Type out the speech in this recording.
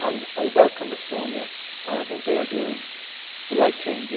I welcome Estonia and I think they are doing the right thing.